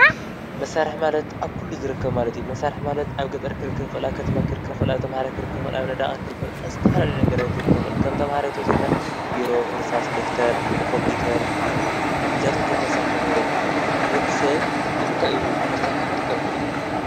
መሳርሒ ማለት ኣብ ኩሉ ዝርከብ ማለት እዩ። መሳርሒ ማለት ኣብ ገጠር ክርከብ ይክእል ኣብ ከተማ ክርከብ ይክእል ኣብ ተማሃራይ ክርከብ ይክእል ኣብ ነዳቃይ ክርከብ ይክእል ኣብ ዝተፈላለዩ ነገራት ክርከብ ይክእል ከም ተማሃራይ ተወሲድና ቢሮ እርሳስ ደፍተር ኮምፒተር እዚኣቶም ከም መሳርሒ ንብረት ይጥቀመሉ ሰብ ንምንታይ እዩ መሳሪሒ ክጥቀም ኪኢሉ?